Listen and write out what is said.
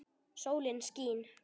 Sólin skín.